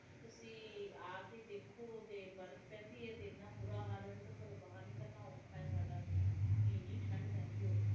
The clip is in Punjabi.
ਤੁਸੀਂ ਆ ਕੇ ਦੇਖੋ ਤੇ ਬਰਫ ਪੈਂਦੀ ਹੈ ਤੇ ਏਨਾ ਬੁਰਾ ਹਾਲ ਹੈ ਕੇ ਘਰੋਂ ਬਾਹਰ ਨਿਕਲਣਾ ਔਖਾ ਹੈ ਸਾਡਾ ਏਨੀ ਠੰਡ ਪੈਂਦੀ ਹੈ ਓਥੇ